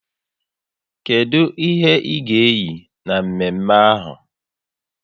Kedụ ihe ị ga eyi na mme mme ahụ?